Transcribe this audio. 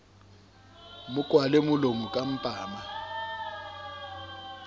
mo kwala molomo ka mpama